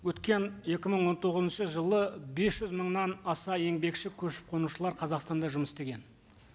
өткен екі мың он тоғызыншы жылы бес жүз мыңнан аса еңбекші көшіп қонушылар қазақстанда жұмыс істеген